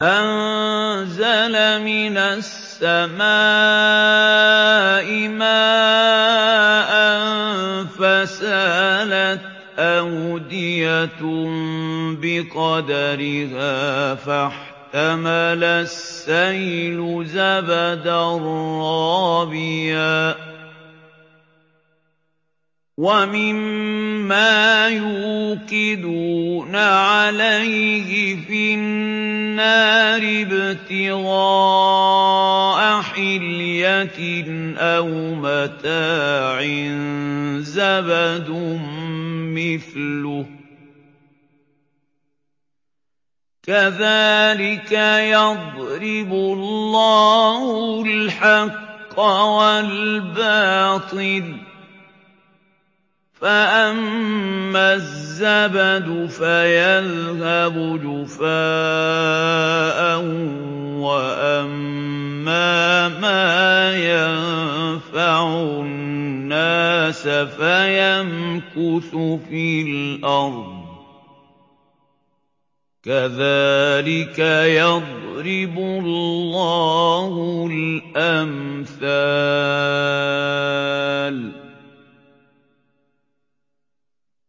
أَنزَلَ مِنَ السَّمَاءِ مَاءً فَسَالَتْ أَوْدِيَةٌ بِقَدَرِهَا فَاحْتَمَلَ السَّيْلُ زَبَدًا رَّابِيًا ۚ وَمِمَّا يُوقِدُونَ عَلَيْهِ فِي النَّارِ ابْتِغَاءَ حِلْيَةٍ أَوْ مَتَاعٍ زَبَدٌ مِّثْلُهُ ۚ كَذَٰلِكَ يَضْرِبُ اللَّهُ الْحَقَّ وَالْبَاطِلَ ۚ فَأَمَّا الزَّبَدُ فَيَذْهَبُ جُفَاءً ۖ وَأَمَّا مَا يَنفَعُ النَّاسَ فَيَمْكُثُ فِي الْأَرْضِ ۚ كَذَٰلِكَ يَضْرِبُ اللَّهُ الْأَمْثَالَ